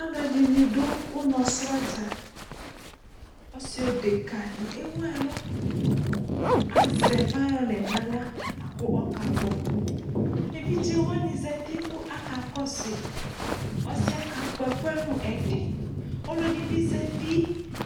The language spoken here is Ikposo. Alʋɛdɩnɩ dʋ ʋnɔsrɔdza , ɔsɩdekǝdɩ ewuɛlʋ azɛ fayɔnɩ n'aɣla k'ɔkakpɔ Evidzewanɩ zati kʋ aka kɔsʋɩ ; asɩɛ kakpɔ ɛkʋɛ nʋ ɛdɩ Ɔlɔdɩ bɩ zati